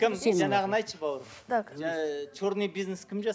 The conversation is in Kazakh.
кім жаңағыны айтшы бауырым ыыы черный бизнес кім